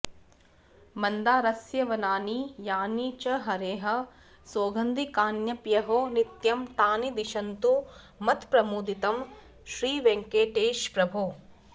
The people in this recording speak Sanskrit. मन्दारस्य वनानि यानि च हरेः सौगन्धिकान्यप्यहो नित्यं तानि दिशन्तु मत्प्रमुदितं श्रीवेङ्कटेश प्रभो